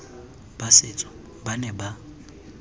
ba setso ba ne ba